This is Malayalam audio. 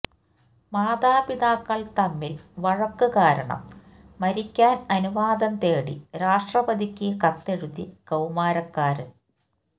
മാതാപിതാക്കള് തമ്മില് വഴക്ക് കാരണം മരിക്കാന് അനുവാദം തേടി രാഷ്ട്രപതിക്ക് കത്തെഴുതി കൌമാരക്കാരൻ